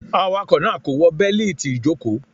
Awakọ naa ko wọ beliti ijoko.